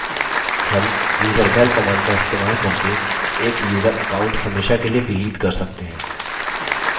हम userdel command का इस्तेमाल करके एक यूज़र account हमेशा के लिए डिलीट कर सकते हैं